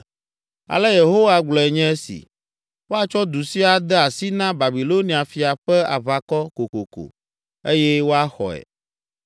Ale Yehowa gblɔe nye si, ‘Woatsɔ du sia ade asi na Babilonia fia ƒe aʋakɔ kokoko eye woaxɔe.’ ”